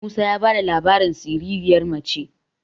musa ya ba da labarin siririyar mace